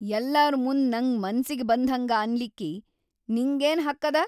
ಯಲ್ಲಾರ್‌ ಮುಂದ್‌ ನಂಗ್ ಮನ್ಸಿಗಿ ಬಂದ್ಹಂಗ ಅನ್ಲಿಕ್ಕಿ ನಿಂಗೇನ್ ಹಕ್‌ ಅದ?!